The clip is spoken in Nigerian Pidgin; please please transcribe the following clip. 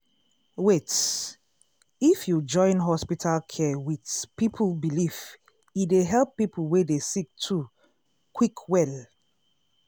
wait- if you join hospital care wit people belief e dey help people wey dey sick too quick well.